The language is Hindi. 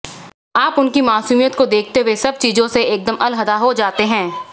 आप उनकी मासूमियत को देखते हुए सब चीजों से एकदम अलहदा हो जाते हैं